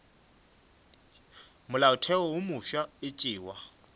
molaotheo wo mofsa e tšewa